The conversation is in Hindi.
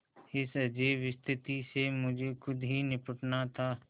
इस अजीब स्थिति से मुझे खुद ही निबटना था